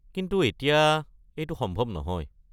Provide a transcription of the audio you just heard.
কিন্তু এতিয়া এইটো সম্ভৱ নহয়।